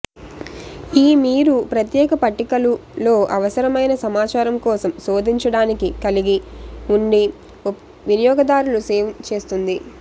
ఈ మీరు ప్రత్యేక పట్టికలు లో అవసరమైన సమాచారం కోసం శోధించడానికి కలిగి నుండి వినియోగదారులు సేవ్ చేస్తుంది